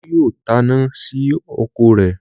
Olú yóò taná sí ọkọ̀ rẹ̀.